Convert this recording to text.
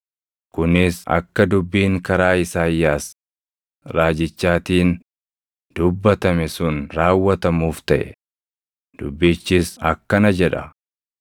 kunis akka dubbiin karaa Isaayyaas raajichaatiin dubbatame sun raawwatamuuf taʼe; dubbichis akkana jedha: